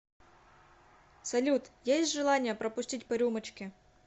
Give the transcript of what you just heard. салют есть желание пропустить по рюмочке